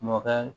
Mɔkɛ